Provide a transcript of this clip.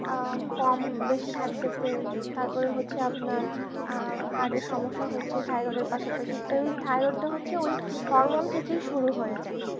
কম বেশি থাকতে সে তারপর হচ্ছে আপনার heart এর সমস্যা হচ্ছে thyroid এর thyroid টা হচ্ছে ওই হরমোন থেকেই শুরু হয়ে যায়